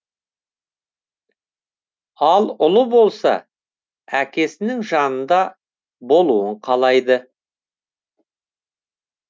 ал ұлы болса әкесінің жанында болуын қалайды